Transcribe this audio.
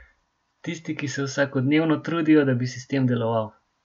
Tisti, ki se vsakodnevno trudijo, da bi sistem deloval.